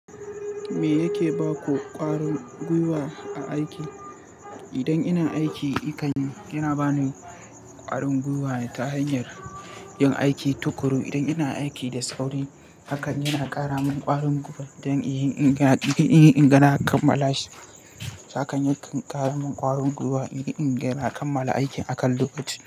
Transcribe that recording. Me yake ba ku ƙwarin gwiwa a aiki? Idan ina aiki, haka yana bani ƙwarin gwiwa ta hanyar yin aiki tuƙuru. Idan ina aiki da sauri, hakan yana ƙara min ƙarin gwiwa don inyi inga na kammala shi. Haka yakan ƙara min ƙwarin gwiwa in iya ingana a kammala aikin akan lokaci.